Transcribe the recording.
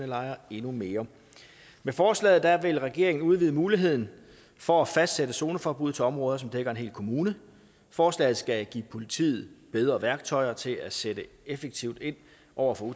lejre endnu mere med forslaget vil regeringen udvide muligheden for at fastsætte zoneforbud til områder der dækker en hel kommune forslaget skal give politiet bedre værktøjer til at sætte effektivt ind over for